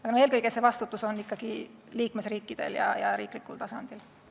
Aga eelkõige on vastutus ikkagi liikmesriikidel ja riiklikul tasandil.